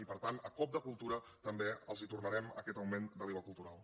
i per tant a cop de cultura també els tornarem aquest augment de l’iva cultural